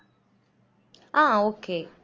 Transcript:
ஆஹ் okay